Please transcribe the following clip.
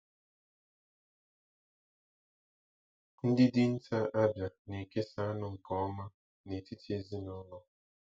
Ndị dinta Abia na-ekesa anụ nke ọma n'etiti ezinaụlọ.